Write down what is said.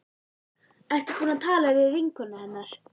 Ertu búin að tala við vinkonur hennar?